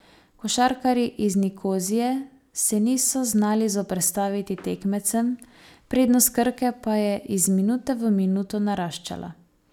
Košarkarji iz Nikozije se niso znali zoperstaviti tekmecem, prednost Krke pa je iz minute v minuto naraščala.